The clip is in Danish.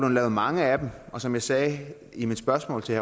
lavet mange af dem og som jeg sagde i mit spørgsmål til